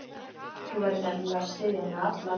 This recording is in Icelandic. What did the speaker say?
Þú verður nefnilega að styðja mig alla leið.